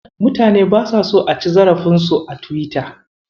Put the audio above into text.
Mutane basa so a ci zarafinsu a Tiwita.